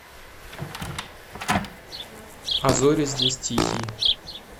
а зори здесь тихие